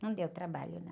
Não deu trabalho, não.